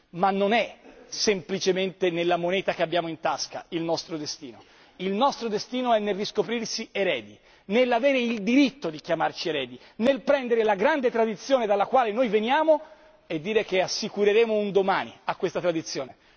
Ma non è semplicemente nella moneta che abbiamo in tasca il nostro destino il nostro destino è nel riscoprirsi eredi, nell'avere il diritto di chiamarci eredi, nel prendere la grande tradizione dalla quale veniamo e dire che assicureremo un domani a questa tradizione.